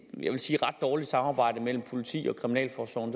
vil jeg sige ret dårligt samarbejde mellem politiet og kriminalforsorgen